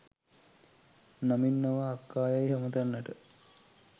නමින් නොව අක්කා යැයි අමතන්නට